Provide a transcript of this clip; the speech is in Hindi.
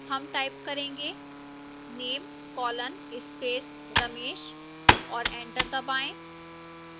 name type करेंगे name colon space ramesh और enter दबाएं